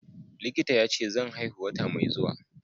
Likita yace zan haihu wata mai zuwa.